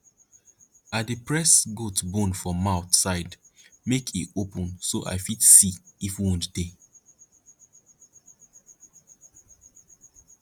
i dey press goat bone for mouth side make e open so i fit see if wound dey